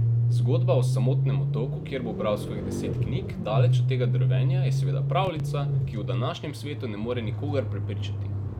Zgodba o samotnem otoku, kjer bo bral svojih deset knjig, daleč od tega drvenja, je seveda pravljica, ki v današnjem svetu ne more nikogar prepričati.